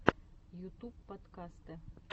ютуб подкасты